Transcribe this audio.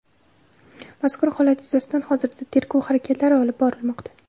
Mazkur holat yuzasidan hozirda tergov harakatlari olib borilmoqda.